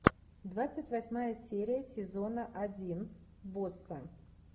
двадцать восьмая серия сезона один босса